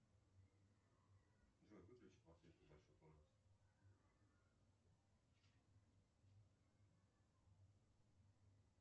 джой выключи подсветку в большой комнате